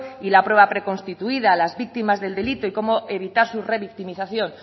y la prueba preconstituida las víctimas del delito y cómo evitar su revictimización